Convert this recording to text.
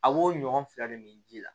A b'o ɲɔgɔn fila de min ji la